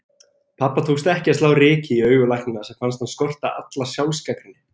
Pabba tókst ekki að slá ryki í augu læknanna sem fannst hann skorta alla sjálfsgagnrýni.